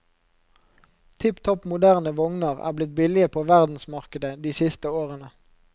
Tipp topp moderne vogner er blitt billige på verdensmarkedet de siste årene.